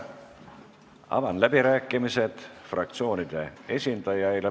Avan fraktsioonide esindajate läbirääkimised.